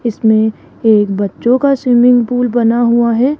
इसमें एक बच्चों का स्विमिंग पूल बना हुआ है।